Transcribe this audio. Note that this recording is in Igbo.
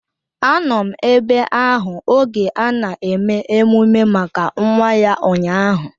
Anọ m ebe ahụ oge ana eme emume maka nwa ya ụnyaahụ